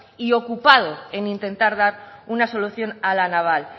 y ocupado en intentar dar una solución a la naval